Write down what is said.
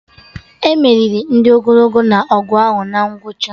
E meriri ndị ogologo na-ọgụ ahụ na ngwụcha